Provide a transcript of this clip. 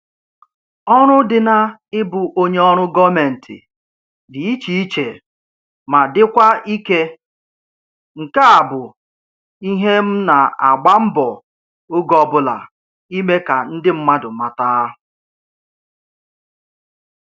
Ọrụ dị na-ịbụ onye ọrụ gọọmentị dị iche iche ma dịkwa ike, nke a bụ ihe m na-agba mbọ oge ọbụla ime ka ndị mmadụ mata